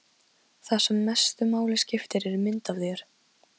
Það sem mestu máli skiptir er mynd af þér.